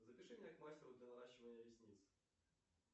запиши меня к мастеру для наращивания ресниц